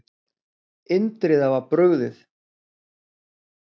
Indriða var brugðið.